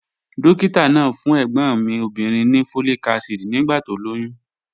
Dókítà náà fún ẹ̀gbọ́n mi obìnrin ní folic acid nígbà tó lóyún